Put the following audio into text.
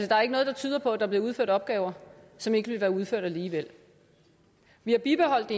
der er ikke noget der tyder på at der bliver udført opgaver som ikke ville være udført alligevel vi har bibeholdt